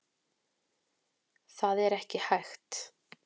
Það er ekki hægt.